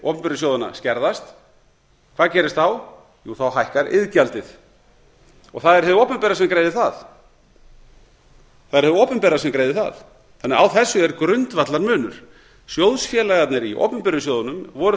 opinberu sjóðanna skerðast hvað gerist þá jú þá hækkar iðgjaldið það er hið opinbera sem greiðir það það er hið opinbera sem greiðir það þannig að á þessu er grundvallarmunur sjóðfélagarnir í opinberu sjóðunum voru